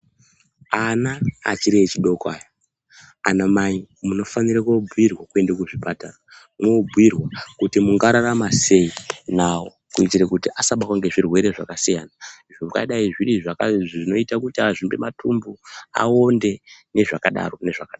Ana achiri echidoko aya anamai munofanira kubhuirwa kuenda kuchipatara mwobhuirwa kuti mungararama sei nawo kuitire kuti asabatwe ngezvirwere zvakasiyana zvingadai zviri zvinoite kuti azvimbe matumbu, aonde nezvakadaro.